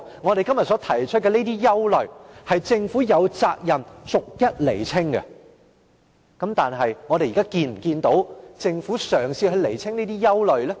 我們今天所提出的憂慮，政府有責任逐一釐清，但我們有否見到政府嘗試釐清？